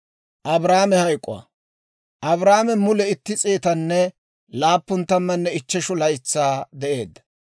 Abrahaame mule itti s'eetanne laappun tammanne ichcheshu laytsaa de'eedda.